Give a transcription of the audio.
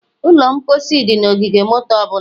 Ụlọ mposi dị na ogige moto ọ bụla